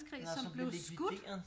Nåh som blev likvideret